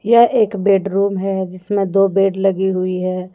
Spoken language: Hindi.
यह एक बेड रूम है जिसमें दो बेड लगी हुई हैं।